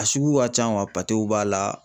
A sugu ka can b'a la